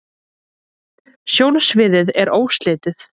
sjónsviðið er óslitið